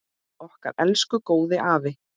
Okkar elsku góði afi!